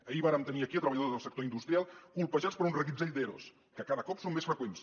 ahir vàrem tenir aquí treballadors del sector industrial colpejats per un reguitzell d’eros que cada cop són més freqüents